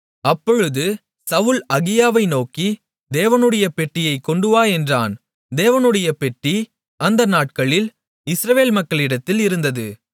அப்பொழுது சவுல் அகியாவை நோக்கி தேவனுடைய பெட்டியைக் கொண்டுவா என்றான் தேவனுடைய பெட்டி அந்த நாட்களில் இஸ்ரவேல் மக்களிடத்தில் இருந்தது